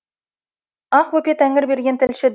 ақбөпе тәңірберген тілші